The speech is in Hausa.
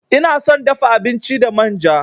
Ina son dafa abinci da manja.